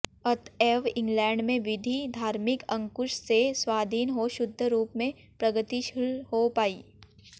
अतएव इंग्लैंड में विधि धार्मिक अंकुश से स्वाधीन हो शुद्ध रूप में प्रगतिशील हो पाई